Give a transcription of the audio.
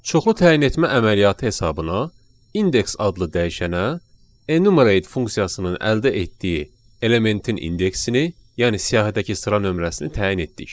Çoxlu təyin etmə əməliyyatı hesabına indeks adlı dəyişənə enumerate funksiyasının əldə etdiyi elementin indeksini, yəni siyahıdakı sıra nömrəsini təyin etdik.